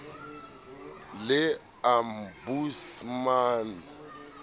le ombudsman le fsb di